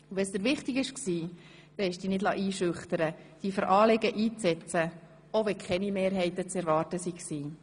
Wenn es dir wichtig war, liessest du dich nicht einschüchtern, dich für Anliegen einzusetzen, auch wenn keine Mehrheiten zu erwarten waren.